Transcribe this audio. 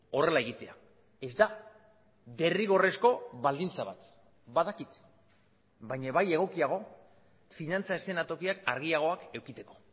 horrela egitea ez da derrigorrezko baldintza bat badakit baina bai egokiago finantza eszenatokiak argiagoak edukitzeko